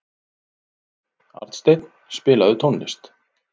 Arnsteinn, spilaðu tónlist.